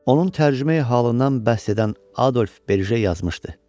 Onun tərcümeyi-halından bəhs edən Adolf Berje yazmışdı.